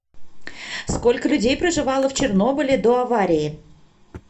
сколько людей проживало в чернобыле до аварии